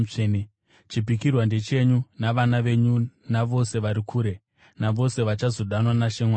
Chipikirwa ndechenyu navana venyu navose vari kure, navose vachazodanwa naShe Mwari wedu.”